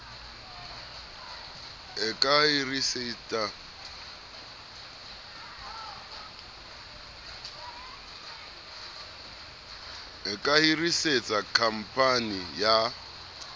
e ka hirisetsa khamphani ya